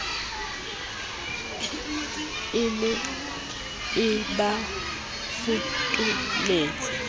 e ne e ba fokoletsa